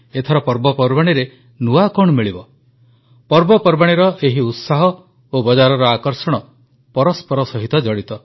ଏଥର ପର୍ବପର୍ବାଣୀରେ ନୂଆ କଣ ମିଳିବ ପର୍ବପର୍ବାଣୀର ଏହି ଉତ୍ସାହ ଓ ବଜାରର ଆକର୍ଷଣ ପରସ୍ପର ସହିତ ଜଡ଼ିତ